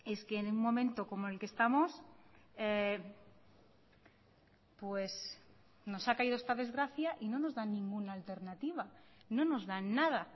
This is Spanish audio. es que en un momento como el que estamos pues nos ha caído esta desgracia y no nos dan ninguna alternativa no nos dan nada